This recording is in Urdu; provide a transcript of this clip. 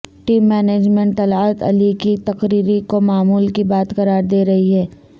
ٹیم مینجمنٹ طلعت علی کی تقرری کو معمول کی بات قرار دے رہی ہے